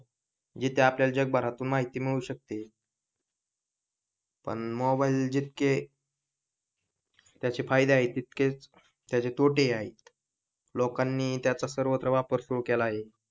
जिथे आपल्याला जगभरात माहिती मिळू शकते पण मोबाईल जितके त्याचे फायदे आहे तितकेच त्याचे तोटे ही आहे लोकांनी त्याचा सर्वत्र वापर सुरू केला आहे